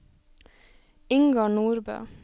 Ingar Nordbø